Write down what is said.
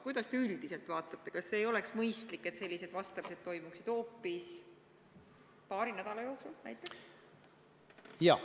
Mida te üldiselt arvate: kas ei oleks mõistlik, et sellised vastamised toimuksid paari nädala jooksul näiteks?